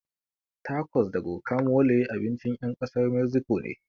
Takos da gokamole abincin ƴan ƙasar meziko ne